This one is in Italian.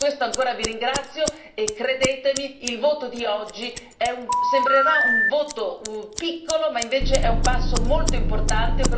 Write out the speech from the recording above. Di questo ancora vi ringrazio e, credetemi, il voto di oggi sembrerà un voto piccolo, ma invece è un passo molto importante.